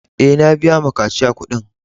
E, na biya ma kashiya kuɗin.